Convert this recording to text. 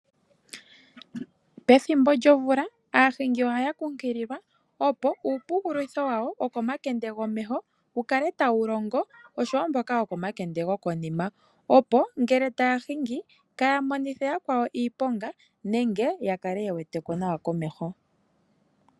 Pethimbo lyomvula aahingi ohaya kumagidhwa, opo uuwayipela woohauto dhawo wu kale tau longo, opo ngele taya hingi kaya monithe yakwawo iiponga nenge uuna taya hingi ya kale ye wete ko nawa komeho.